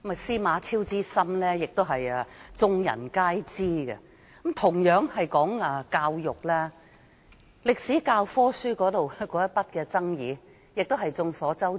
司馬昭之心，路人皆知。教育方面，歷史教科書上的爭議眾所周知。